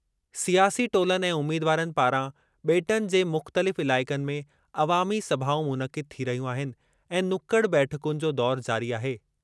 सियासी टोलनि ऐं उमीदवारनि पारां बे॒टनि जे मुख़्तलिफ़ इलाइक़नि में अवामी-सभाऊं मुनक़िद थी रहियूं आहिनि ऐं नुकड़ बैठकुनि जो दौरु जारी आहे।